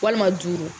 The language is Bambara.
Walima duuru